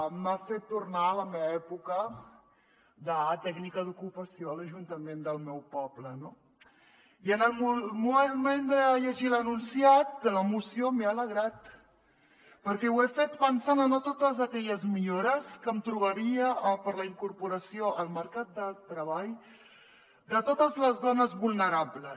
m’ha fet tornar a la meva època de tècnica d’ocupació a l’ajuntament del meu poble no i en el moment de llegir l’enunciat de la moció m’he alegrat perquè ho he fet pensant en totes aquelles millores que em trobaria per a la incorporació al mer·cat de treball de totes les dones vulnerables